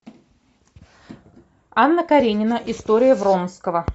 анна каренина история вронского